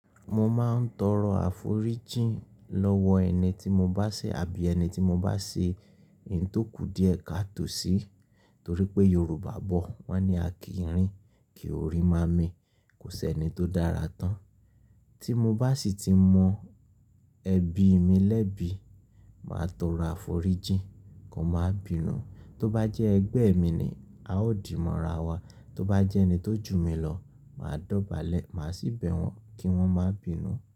Mo máa ń tọrọ àforíjìn lọ́wọ́ ẹni tí mo bá ṣe àbí ẹni tí mo bá ṣe n tó ku díẹ̀ káà tò sí, torí pé Yorùbá bọ̀ wọ́n ní "A kì í rìn, kí o rí máa mì. Kò sí ẹni tó dára tán. Tí mo bá sì ti mọ ẹ̀bi mi lẹ́bi, màá tọrọ àforíjìn kán máa bínú. Tó bá jẹ́ ẹgbẹ́ mi ni a ó dìmọ́ ra wa. Tóbá jẹ́ ẹni tó jù mí lọ, màá dọ̀bálẹ̀, màá sì bẹ̀ wọ́n kí wọ́n máa bìínu.